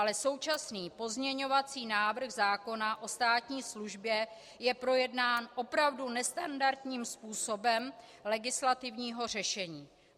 Ale současný pozměňovací návrh zákona o státní službě je projednán opravu nestandardním způsobem legislativního řešení.